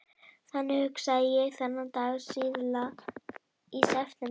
Þannig hugsaði ég þennan dag síðla í september.